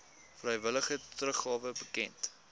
vrywillige teruggawe bekend